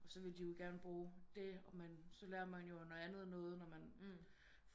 Og så vil de jo gerne bruge det og man og så lærer man jo noget andet noget når man